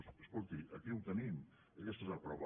doncs escolti aquí ho tenim aquesta n’és la prova